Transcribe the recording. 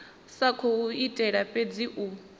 sa khou itela fhedzi u